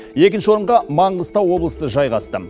екінші орынға маңғыстау облысы жайғасты